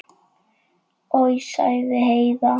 Oj, sagði Heiða.